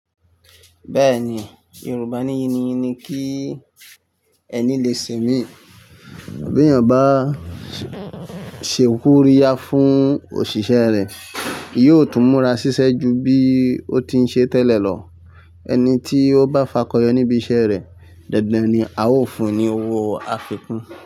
Bẹ́ẹ̀ni, Yorùbá ní yìní yini kí ẹni lè sẹ̀mí. Bí ènìyàn bá ṣe koriya fún òṣìṣẹ́ rẹ̀, yóò tún múra ṣiṣẹ́ ju bí ó ti ń ṣe tẹ́lẹ̀ lọ. Ẹni tí ó bá fakọyọ níbi iṣẹ́ rẹ̀, dandan ni a ó fún un ní owó afikun.